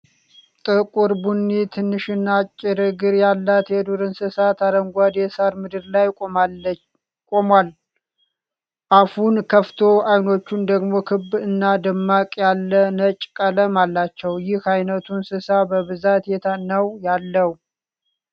ጥቁር ቡኒ፣ ትንሽና አጭር እግር ያለው የዱር እንስሳ፣ አረንጓዴ የሳር ምድር ላይ ቆሟል። አፉን ከፍቶ ፤ ዓይኖቹ ደግሞ ክብ እና ደመቅ ያለ ነጭ ቀለም አላቸው። ይህ አይነቱ እንስሳ በብዛት የት ነው ያለው?